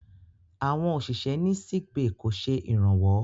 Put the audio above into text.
Àwọn òṣìṣẹ́ ní sickbay kò ṣe ìrànwọ́.